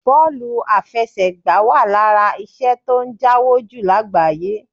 Bọ́ọ̀lù afẹsẹ̀gbá wà lára iṣẹ́ tó ń jáwó jù lágbàáyé